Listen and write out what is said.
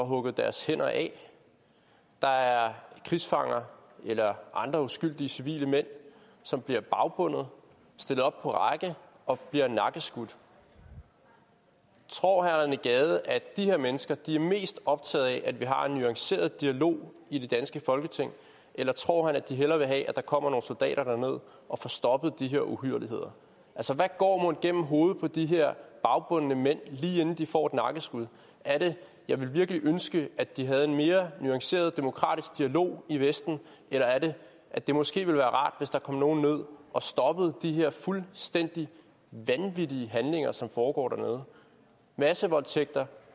hugget deres hænder af der er krigsfanger eller andre uskyldige civile mænd som bliver bagbundet stillet op på række og bliver nakkeskudt tror herre rené gade at de her mennesker er mest optaget af at vi har en nuanceret dialog i det danske folketing eller tror han at de hellere vil have at der kommer nogle soldater derned og får stoppet de her uhyrligheder altså hvad går mon gennem hovedet på de her bagbundne mænd lige inden de får et nakkeskud er det jeg vil virkelig ønske at de havde en mere nuanceret demokratisk dialog i vesten eller er det at det måske ville være rart hvis der kom nogle ned og stoppede de her fuldstændig vanvittige handlinger som foregår dernede massevoldtægter